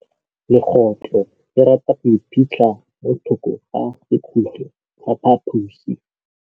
Legôtlô le rata go iphitlha mo thokô ga sekhutlo sa phaposi.